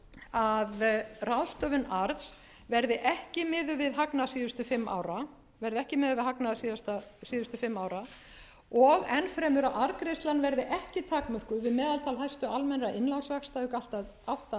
að ráðstöfun arðs verði ekki miðuð við hagnað síðustu fimm ára og enn fremur að arðgreiðslan verði ekki takmörkuð við meðaltal hæstu almennra innlánsvaxta auk átta